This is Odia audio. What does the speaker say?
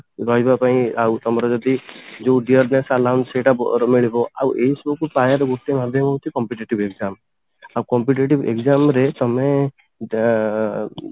ରହିବା ପାଇଁ ଆଉ ତମର ଯଦି ଯଉ ସେଇଟା ଅ ମିଳିବ ଆଉ ଏଇ ସବୁ ପାଇବାର ଗୋଟେ ଭାଗ୍ୟ ହଉଛି competitive exam ଆଉ competitive exam ରେ ତମେ ଆ